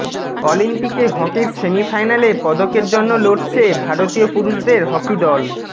অলিম্পিকে হকির সেমিফাইনালে পদকের জন্য লড়ছে ভারতীয় পুরুষদের হকি দল